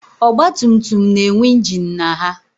Ọgbatumtum na-enwe ingin na ha